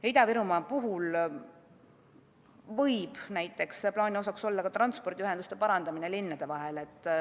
Ja Ida-Virumaa puhul võib näiteks plaani osaks olla ka transpordiühenduse parandamine linnade vahel.